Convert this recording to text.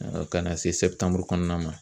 Ka na se kɔnɔna ma.